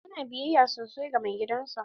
Yana biyayya sosai ga mai gidan sa.